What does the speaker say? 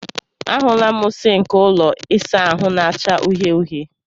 A hụla m sịnkị ụlọ ịsa ahụ na-acha uhie uhie.